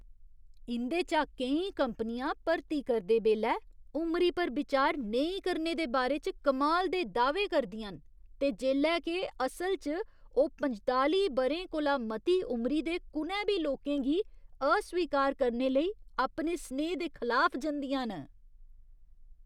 इं'दे चा केईं कंपनियां भर्ती करदे बेल्लै उमरी पर बिचार नेईं करने दे बारे च कमाल दे दाह्वे करदियां न ते जेल्लै के असल च, ओह् पंजताली ब'रें कोला मती उमरी दे कु'नै बी लोकें गी अस्वीकार करने लेई अपने सनेहे दे खलाफ जंदियां न।